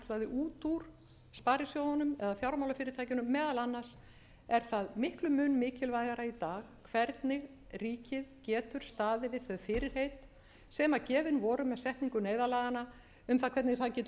út úr sparisjóðunum eða fjármálafyrirtækjunum meðal annars er það miklum mun mikilvægara í dag hvernig ríkið getur staðið við þau fyrirheit sem gefin voru með setningu neyðarlaganna um það hvernig það getur